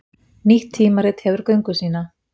Nýtt tímarit hefur göngu sína